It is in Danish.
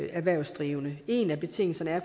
erhvervsdrivende en af betingelserne er